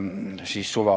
Palun lisaaega!